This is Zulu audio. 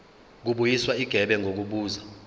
kubuyiswa igebe ngokubuza